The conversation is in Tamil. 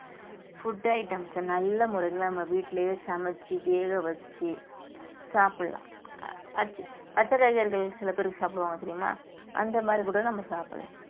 food items அ நல்ல முறையில நம்ம வீட்டிலேயே சமைச்சு வேக வச்சு சாப்பிடலாம் பச்ச~ பச்சை காய்கறிகள் சில பேருக்கு சாப்பிடுவாங்க தெரியுமா அந்த மாதிரி கூட நம்ம சாப்பிடலாம்